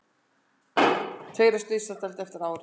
Tveir á slysadeild eftir árekstur